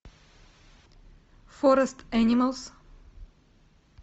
форест энималс